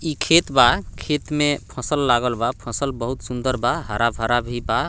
इ खेत बा खेत में फसल लागल बा फसल बहुत सुंदर बा हरा-भरा भी बा।